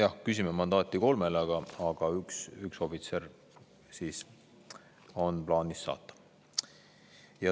Jah, küsime mandaati kolmele, aga üks ohvitser on plaanis sinna saata.